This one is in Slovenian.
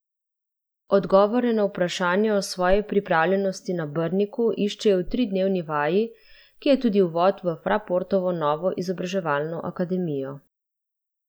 Odgovore na vprašanja o svoji pripravljenosti na Brniku iščejo v tridnevni vaji, ki je tudi uvod v Fraportovo novo izobraževalno akademijo.